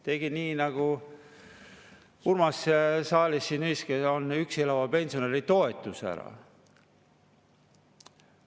Tegi üksi elava pensionäri toetuse ära.